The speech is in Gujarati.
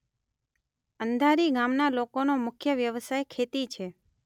અંધારી ગામના લોકોનો મુખ્ય વ્યવસાય ખેતી છે.